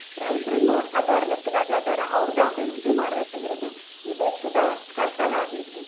ರೈತರು ಇನ್ನು other ಲೆಕ್ಕದಾಗ ಅದಾರ, ಅವ್ರದು ಅಭಿವೃದ್ಧಿ ಮಾಡ್ಬೇಕಾಗಿರುದು, ಈ ದೇಶದ ಕರ್ತವ್ಯ ಆಗೇತಿ.